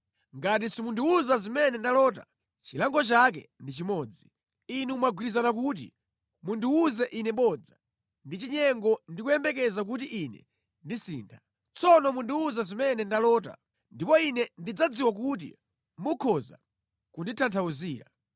Ngati simundiwuza zimene ndalota, chilango chake ndi chimodzi. Inu mwagwirizana kuti mundiwuze ine bodza ndi chinyengo ndi kuyembekeza kuti ine ndisintha. Tsono mundiwuze zimene ndalota, ndipo ine ndidzadziwa kuti mukhoza kunditanthauzira.”